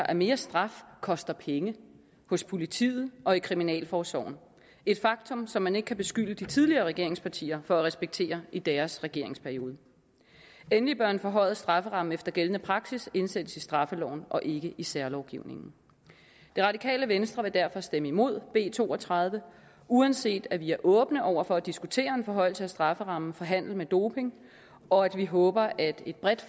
at mere straf koster penge hos politiet og i kriminalforsorgen et faktum som man ikke kan beskylde de tidligere regeringspartier for at respektere i deres regeringsperiode endelig bør en forhøjet strafferamme efter gældende praksis indsættes i straffeloven og ikke i en særlovgivning det radikale venstre vil derfor stemme imod b to og tredive uanset at vi er åbne over for at diskutere en forhøjelse af strafferammen for handel med doping og at vi håber at et bredt